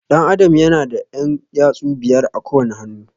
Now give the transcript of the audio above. Ɗan Adam ya na da ƴan yatsu biyar a kowane hannu